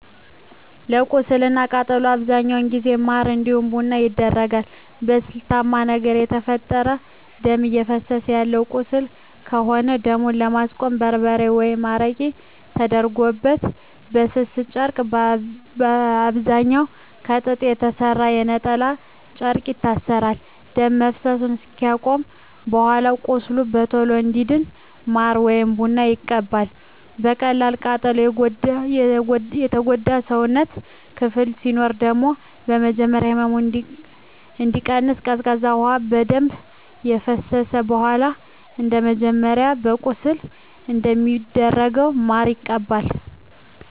ለቁስል እና ለቃጠሎ በአብዛኛው ጊዜ ማር እንዲሁም ቡና ይደረጋል። በስለታማ ነገር የተፈጠረ ደም እፈሰሰ ያለው ቁስል ከሆነ ደሙን ለማስቆም በርበሬ ወይም አረቄ ተደርጎበት በስስ ጨርቅ በአብዛኛዉ ከጥጥ በተሰራ የነጠላ ጨርቅ ይታሰራል። ደም መፍሰስ አከቆመም በኃላ ቁስሉ በቶሎ እንዲድን ማር ወይም ቡና ይቀባል። በቀላል ቃጠሎ የጎዳ የሰውነት ክፍል ሲኖር ደግሞ በመጀመሪያ ህመሙ እንዲቀንስ ቀዝቃዛ ውሃ በደንብ ከፈሰሰበት በኃላ እንደመጀመሪያው ለቁስል እንደሚደረገው ማር ይቀባል።